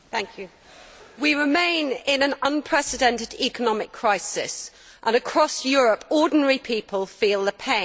Mr President, we remain in an unprecedented economic crisis, and across Europe ordinary people feel the pain.